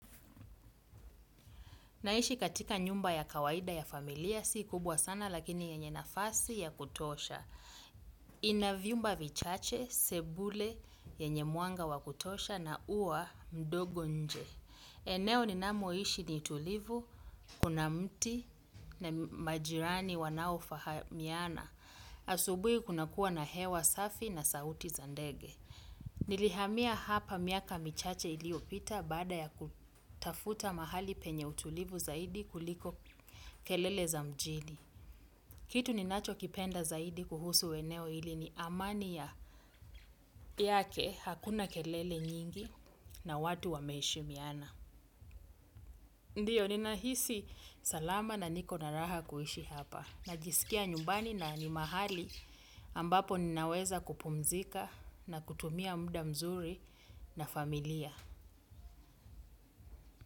Naishi katika nyumba ya kawaida ya familia. Si kubwa sana lakini yenye nafasi ya kutosha. Ina vyumba vichache, sebule yenye mwanga wa kutosha na huwa ndogo nje. Eneo ninamoishi ni tulivu, kuna mti na majirani wanao fahamiana. Asubui kuna kuwa na hewa safi na sauti za ndege. Nilihamia hapa miaka michache iliyopita baada ya kutafuta mahali penye utulivu zaidi kuliko kelele za mjini. Kitu ninachokipenda zaidi kuhusu eneo hili ni amani yake, hakuna kelele nyingi na watu wameheshimiana. Ndio, ninahisi salama na niko na raha kuishi hapa. Najisikia nyumbani na ni mahali ambapo ninaweza kupumzika na kutumia muda mzuri na familia.